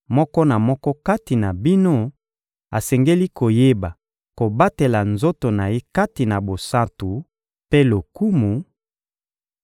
moko na moko kati na bino asengeli koyeba kobatela nzoto na ye kati na bosantu mpe lokumu,